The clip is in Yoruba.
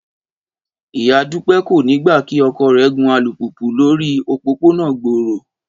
Ìyá Dúpẹ́ kò ní gbà kí ọkọ rẹ̀ gun alùpùpù lórí òpópónà gbòòrò